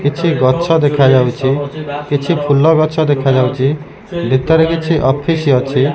କିଛି ଗଛ ଦେଖାଯାଉଚି। କିଛି ଫୁଲ ଗଛ ଦେଖାଯାଉଚି। ଭିତରେ କିଛି ଅଫିସ ଅଛି।